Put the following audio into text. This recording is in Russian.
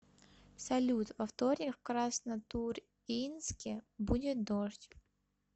салют во вторник в краснотурьинске будет дождь